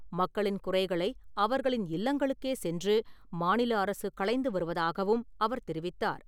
மக்களின் குறைகளை அவர்களின் இல்லங்களுக்கே சென்று மாநில அரசு களைந்து வருவதாகவும் அவர் தெரிவித்தார்.